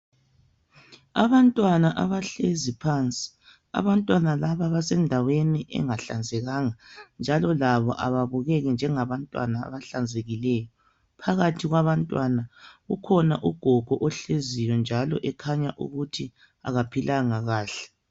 Abantwana abahlezi phansi, abantwana laba basendaweni engahlanzekanga njalo labo ababukeki njengabantwana abahlanzekileyo. Phakathi kwabantwana kukhona ugogo ohleziyo njalo ekhanya ukuthi akaphilanga kahle.